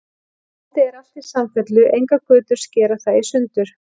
Landið er alt í samfellu, engar götur skera það í sundur.